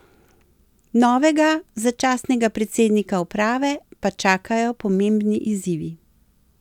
Novega začasnega predsednika uprave pa čakajo pomembni izzivi.